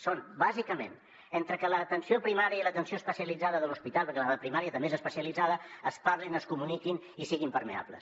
són bàsicament que entre l’atenció primària i l’atenció especialitzada de l’hospital perquè la de primària també és especialitzada es parlin es comuniquin i siguin permeables